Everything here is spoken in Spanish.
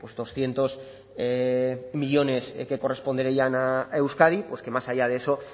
doscientos millónes que corresponderían a euskadi pues que más allá de eso